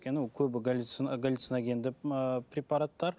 өйткені ол көбісі галлциногендік ыыы препараттар